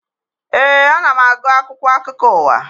Ee, ana m agụ akwụkwọ akụkọ ụwa